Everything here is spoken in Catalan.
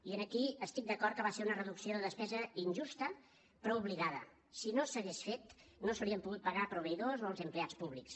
i aquí estic d’acord que va ser una reducció de despesa injusta però obligada si no s’hagués fet no s’haurien pogut pagar proveïdors o els empleats públics